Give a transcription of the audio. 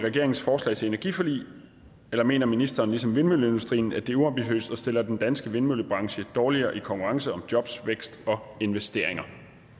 i regeringens forslag til energiforlig eller mener ministeren ligesom vindmølleindustrien at det er uambitiøst og stiller den danske vindmøllebranche dårligere i konkurrencen om jobs vækst og investeringer